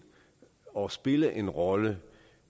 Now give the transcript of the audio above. og spille en rolle